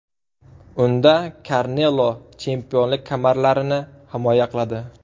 Unda Kanelo chempionlik kamarlarini himoya qiladi.